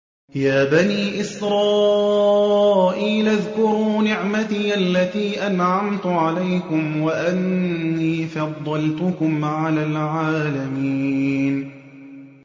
يَا بَنِي إِسْرَائِيلَ اذْكُرُوا نِعْمَتِيَ الَّتِي أَنْعَمْتُ عَلَيْكُمْ وَأَنِّي فَضَّلْتُكُمْ عَلَى الْعَالَمِينَ